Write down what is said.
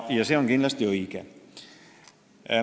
See on kindlasti õige.